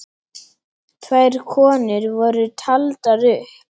Tvær konur voru taldar upp.